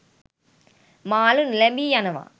මාලු නොලැබී යනවා.